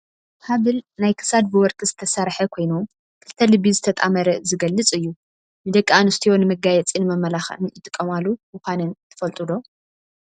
ሓበል ናይ ክሳድ ብወርቂ ዝተሰረሓ ኮይኑ ክልተ ልቢ ዝተጣመረ ዝገልፅ እዩ። ንደቂ ኣንስትዮ ንመጋየፂን መመላክዕን ይጥቀማሉ ምኳነን ትፈልጡ ዶ ?